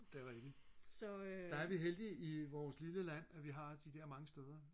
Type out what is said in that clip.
det er rigtigt der er vi heldige i vores lille land at vi har de der mange steder